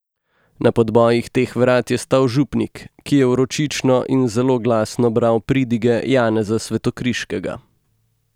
Na podbojih teh vrat je stal župnik, ki je vročično in zelo glasno bral pridige Janeza Svetokriškega.